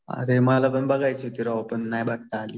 अरे मला पण बघायची होती राव. पण नाही बघता आली.